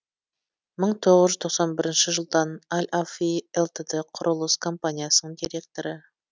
мың тоғыз жүз тоқсан бірінші жылдан ал афи лтд кұрылыс компаниясының директоры